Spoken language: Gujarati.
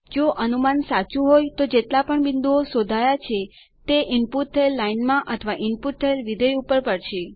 જો અનુમાન સાચું હોય તો જેટલા પણ બિંદુઓ શોધાયા છે તે ઈનપુટ થયેલ લાઇન અથવા ઈનપુટ થયેલ વિધેય ઉપર પડશે